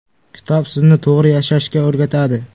Kitob sizni to‘g‘ri yashashga o‘rgatadi.